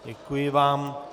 Děkuji vám.